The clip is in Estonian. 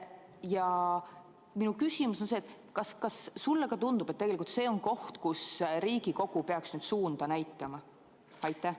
Ja minu küsimus on see: kas sulle tundub, et tegelikult see on koht, kus Riigikogu peaks nüüd suunda näitama?